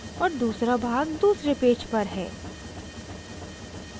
और दूसरा भाग दूसरे पेज पर है